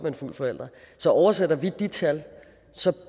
en fuld forælder så oversætter vi de tal